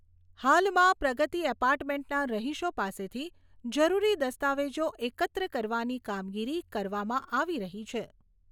હાલમાં પ્રગતિ એપાર્ટમેન્ટના રહીશો પાસેથી જરૂરી દસ્તાવેજો એકત્ર કરવાની કામગીરી કરવામાં આવી રહી છે.